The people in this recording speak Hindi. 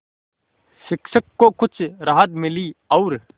शिक्षक को कुछ राहत मिली और